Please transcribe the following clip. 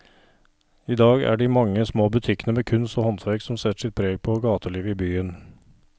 I dag er det de mange små butikkene med kunst og håndverk som setter sitt preg på gatelivet i byen.